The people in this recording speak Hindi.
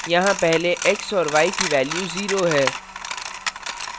यहाँ पहले x और y की value 0 है